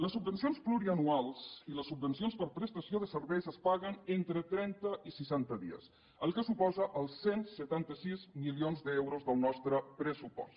les subvencions plurianuals i les subvencions per prestació de serveis es paguen entre trenta i seixanta dies que suposa els cent i setanta sis milions d’euros del nostre pressupost